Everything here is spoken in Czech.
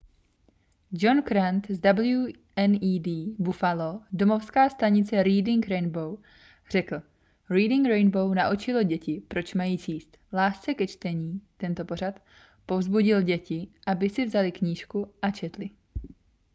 john grant z wned buffalo domovská stanice reading rainbow řekl: reading rainbow naučilo děti proč mají číst... lásce ke čtení — [tento pořad] povzbudil děti aby si vzaly knížku a četly.